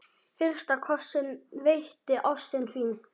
Fyrsta kossinn veitti ástin þín.